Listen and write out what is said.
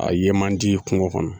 A ye man di kungo kɔnɔ